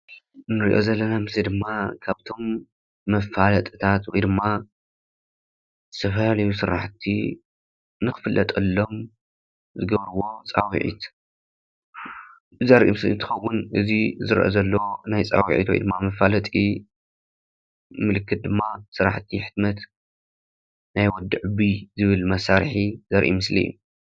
እዚ ንሪኦ ዘለና ምስሊ ድማ ካብቶም መፋለጥታት ወይ ድማ ዝተፈላለዩ ስራሕቲ ንክፍለጠሎም ዝገብርዎ ፃውዒት ዘርኢ ምስሊ እንትኸውን እዚ ዝርአ ዘሎ ናይ ፃውዒት ወይ ድማ መፋለጢ ምልክት ድማ ስራሕቲ ሕትመት ናይ ወዲ ዕቡይ ዝብል መሳርሒ ዘርኢ ምስሊ እዩ፡፡